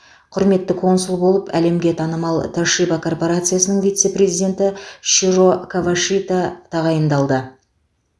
құрметті консул болып әлемге танымал тошиба корпорациясының вице президенті широ кавашита тағайындалды